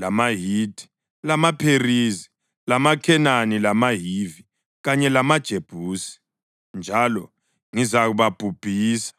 lamaHithi, lamaPherizi, lamaKhenani lamaHivi kanye lamaJebusi njalo ngizababhubhisa.